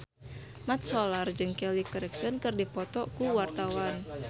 Mat Solar jeung Kelly Clarkson keur dipoto ku wartawan